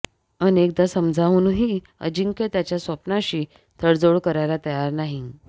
अनेकदा समजावूनही अजिंक्य त्याच्या स्वप्नाशी तडजोड करायला तयार नाही